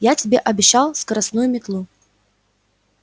я тебе обещал скоростную метлу